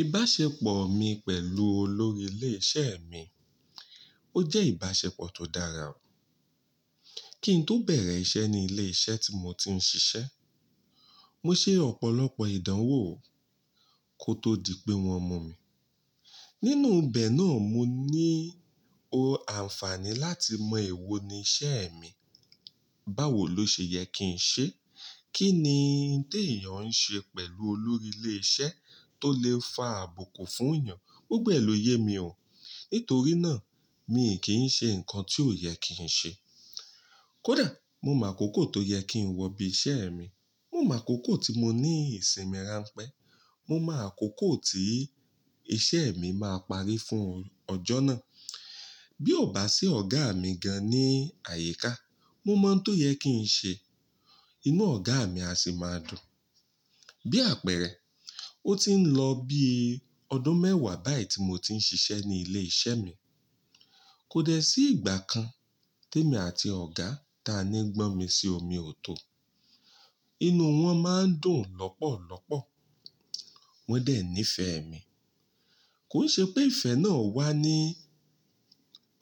Ìbáṣepọ̀ mi pẹ̀lú olórí ilé iṣẹ́ mi, ó jẹ́ ìbáṣepọ̀ tó dára. Kí n tó bẹ̀rẹ̀ iṣẹ́ ní ilé iṣẹ́ tí mo ti ń ṣiṣẹ́, mo ṣe ọ̀pọ̀lọpọ̀ ìdánwò kó tó di pé wọ́n mú mi. Nínú bẹ̀ náà, mo ní o àǹfààní láti mọ èwo ni iṣẹ́ mi, báwo ló ṣe yẹ kí n ṣe, kí ni n tí èèyàn ń ṣe pẹ̀lú olórí ilé iṣẹ́ tó lè fa àbùkù fún èèyàn. Gbogbo ẹ ló yé mi o. Nítorí náà, mi kì í ṣe nǹkan tí ò yẹ kí n ṣe. Kódà mo mo akókò tó yẹ kí n wọ bí iṣẹ́ mi. Mo mo akókò tí mo ní ìsinmi ránpẹ́. Mo máa kóókò tí iṣẹ́ mi máa parí fún ọjọ́ náà. Bí ò bá sí ọ̀gá mi gan-an ní àyíká, mo mọ̀ n tó yẹ kí n ṣe, inú ọ̀gá mi á sì máa dùn. Bí àpẹẹrẹ, ó ti ń lọ bí i ọdún mẹ́wàá báyìí tí mo ti ń ṣiṣẹ́ ní ilé iṣẹ́ mi. Kò dẹ sí ìgbà kan tí èmi àti ọ̀gá ta ni gbọ́nmisí omi ò tó. Inú wọn máa ń dùn lọ́pọ̀lọ́pọ̀. Wọ́n dẹ̀ nífẹ̀ẹ́ mi. Kò n ṣe pé ìfẹ́ náà wà ní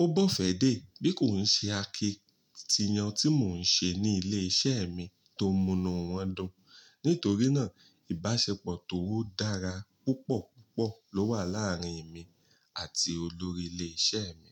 ó bọ́fẹ́ dé bí kò ń ṣe akitiyan tí mò ń ṣe ní ilé iṣẹ́ mi tó múnú wọn dùn. Nítorí náà, ìbáṣepọ̀ tó dára púpọ̀ púpọ̀ ló wà láàárín èmi àti olórí ilé iṣẹ́ mi.